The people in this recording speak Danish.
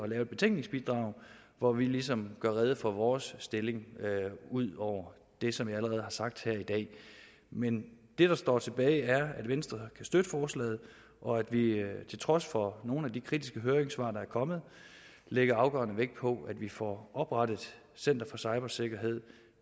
lave et betænkningsbidrag hvor vi ligesom gør rede for vores stilling ud over det som jeg allerede har sagt i dag men det der står tilbage er at venstre kan støtte forslaget og at vi til trods for nogle af de kritiske høringssvar der er kommet lægger afgørende vægt på at vi får oprettet center for cybersikkerhed